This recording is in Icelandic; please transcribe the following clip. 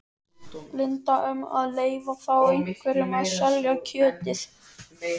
Linda: Um að leyfa þá einhverjum að selja kjötið?